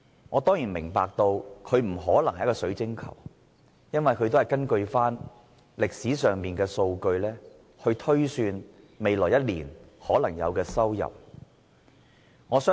我當然明白，預算案不可能像水晶球般預示未來的情況，因為預算案只是根據過去的數據，推算未來一年可能有的收入。